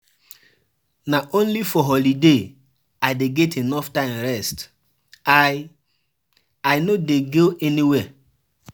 Na only for holiday I dey get enough time rest, I I no dey go anywhere.